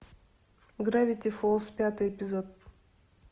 гравити фолз пятый эпизод